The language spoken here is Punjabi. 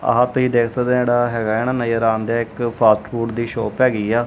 ਆਪ ਤੁਹੀ ਦੇਖ ਸਕਦੇ ਜਿਹੜਾ ਹੈਗਾ ਨਾ ਨਜ਼ਰ ਆਣ ਦਿਆ ਇੱਕ ਫਾਸਟ ਫੂਡ ਦੀ ਸ਼ੋਪ ਹੈਗੀ ਆ।